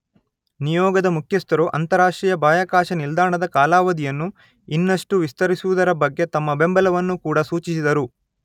ನಿಯೋಗದ ಮುಖ್ಯಸ್ಥರು ಅಂತರರಾಷ್ಟ್ರೀಯ ಬಾಹ್ಯಾಕಾಶ ನಿಲ್ದಾಣದ ಕಾಲಾವಧಿಯನ್ನು ಇನ್ನಷ್ಟೂ ವಿಸ್ತರಿಸುವುದರ ಬಗ್ಗೆ ತಮ್ಮ ಬೆಂಬಲವನ್ನು ಕೂಡ ಸೂಚಿಸಿದರು.